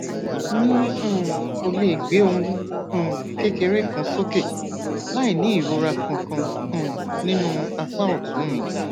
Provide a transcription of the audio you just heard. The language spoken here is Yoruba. mi um ò lè gbé ohun um kékeré kan sókè láìní ìrora kankan um nínú apá òtún mi